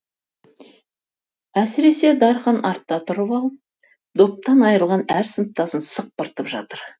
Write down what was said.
әсіресе дархан артта тұрып алып доптан айрылған әр сыныптасын сықпыртып жатыр